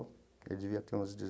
Ele devia ter uns